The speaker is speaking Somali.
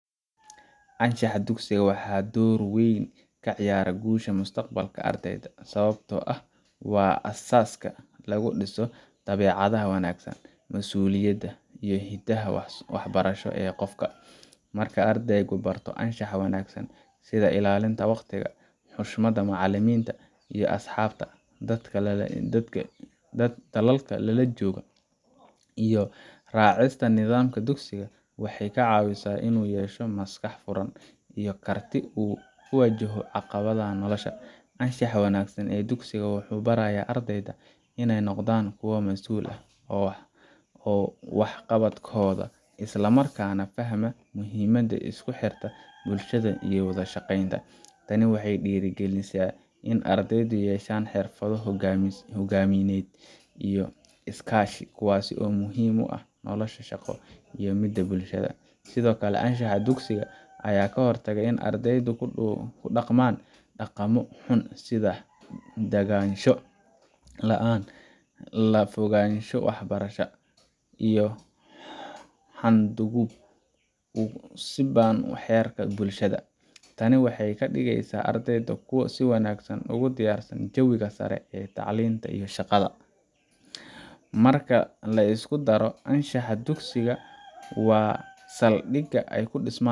Anshaxa dugsiga waxa uu door weyn ka ciyaaraa guusha mustaqbalka ardayda, sababtoo ah waa aasaaska lagu dhiso dabeecadaha wanaagsan, masuuliyadda, iyo hiddaha waxbarasho ee qofka. Marka ardaygu barto anshaxa wanaagsan sida ilaalinta waqtiga, xushmadda macallimiinta iyo asxaabta, dadaalka joogtada ah, iyo raacista nidaamka dugsiga, waxay ka caawisaa in uu yeesho maskax furan iyo karti uu ku wajahayo caqabadaha nolosha. Anshaxa wanaagsan ee dugsiga wuxuu barayaa ardayda inay noqdaan kuwo masuul ka ah waxqabadkooda, isla markaana fahma muhiimada isku xirka bulshada iyo wada shaqaynta. Tani waxay dhiirrigelisaa in ardaydu yeeshaan xirfado hogaamineed iyo iskaashi, kuwaas oo muhiim u ah nolosha shaqo iyo midda bulshada. Sidoo kale, anshaxa dugsiga ayaa ka hortaga in ardaydu ku dhaqmaan dhaqanno xun sida daganaansho la’aan, ka fogaansho waxbarashada, iyo xadgudub ku saabsan xeerarka bulshada. Tani waxay ka dhigaysaa ardayda kuwo si wanaagsan ugu diyaarsan jawiga sare ee tacliinta iyo shaqada. Marka la isku daro, anshaxa dugsigu waa saldhigga ay ku dhismaan